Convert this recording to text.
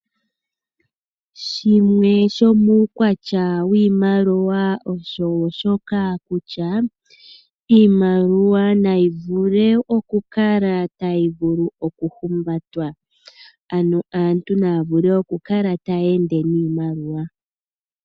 Shimwe sho muukwatya wiimaliwa osho shoka kutya iimaliwa nayi vule okukala tayi vulu okuhumbatwa. Ano aantu naya vule okukala taya ende niimaliwa.